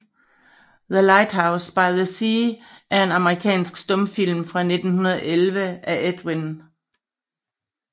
The Lighthouse by the Sea er en amerikansk stumfilm fra 1911 af Edwin S